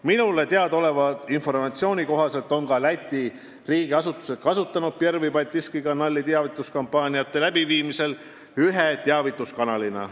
" Minule teada oleva informatsiooni kohaselt on ka Läti riigiasutused kasutanud teavituskampaaniate läbiviimisel Pervõi Baltiiski Kanali ühe teavituskanalina.